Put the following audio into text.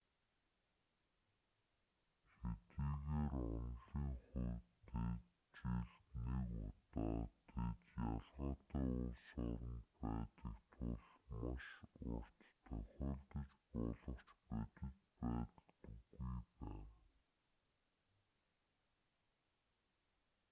хэдийгээр онолын хувьд тэд жилд нэг удаа тэд ялгаатай улс оронд байдаг тул маш урт тохиолдож болох ч бодит байдалд үгүй байна